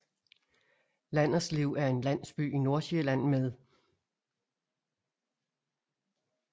Landerslev er en landsby i Nordsjælland med